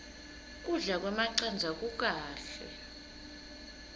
kudla kwemacandza kukahle